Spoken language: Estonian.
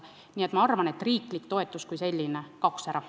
Nii et ma arvan, et riiklik toetus kui selline kaoks ära.